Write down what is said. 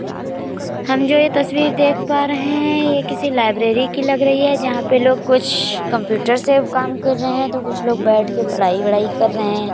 हम जो ये तस्वीर देख पा रहे हैं ये किसी लाइब्रेरी की लग रही है जहाँ पे कुछ लोग कंप्यूटर से काम कर रहे हैं तो कुछ लोग बैठ के पढाई वढ़ाई कर रहे हैं।